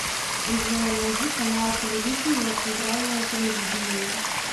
джой найди канал телевидения центральное телевидение